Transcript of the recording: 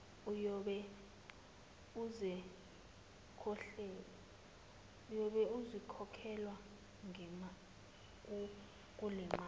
uyobe esekhokhelwa kulemali